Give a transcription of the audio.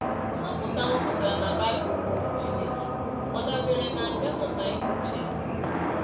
Nnwapụta a nwapụtara na Bible, bụ́ Okwu Chineke, ọ̀ dabeere na nkà mmụta ihe ochie?